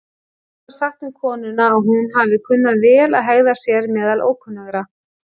Enda var sagt um konuna að hún hafi kunnað vel að hegða sér meðal ókunnugra.